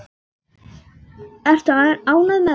Ertu ekki ánægð með það?